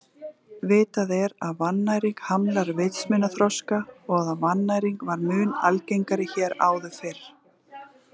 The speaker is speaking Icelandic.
Vitað er að vannæring hamlar vitsmunaþroska og að vannæring var mun algengari hér áður fyrr.